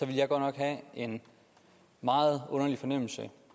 jeg godt nok have en meget underlig fornemmelse